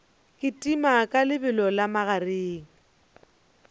kitima ka lebelo la magareng